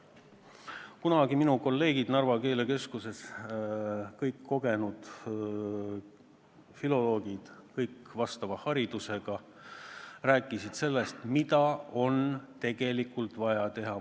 Kunagi minu kolleegid Narva keelekeskusest – kõik kogenud filoloogid, kõik vastava haridusega – rääkisid sellest, mida on tegelikult vaja teha.